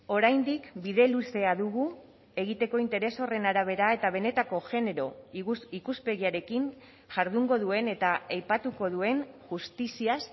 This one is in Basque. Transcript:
oraindik bide luzea dugu egiteko interes horren arabera eta benetako genero ikuspegiarekin jardungo duen eta aipatuko duen justiziaz